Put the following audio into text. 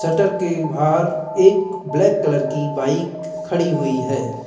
Shutter के बाहर एक ब्लैक कलर की बाइक खड़ी हुई है।